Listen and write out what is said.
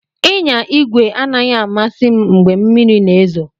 Ịnya igwe anaghị amasị m mgbe mmiri na-ezo.